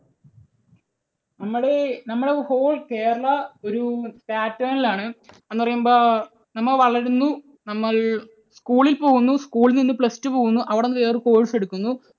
നമ്മള് നമ്മുടെ whole Kerala ഒരു pattern ൽ ആണ്. എന്നുപറയുമ്പോൾ നമ്മൾ വളരുന്നു, നമ്മൾ school ൽ പോകുന്നു, school ൽ നിന്ന് plus two പോകുന്നു, അവിടെനിന്ന് വേറെ course എടുക്കുന്നു,